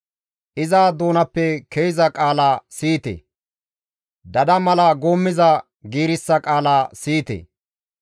Iza doonappe ke7iza qaala siyite; Dada mala guummiza giirissa qaala siyite.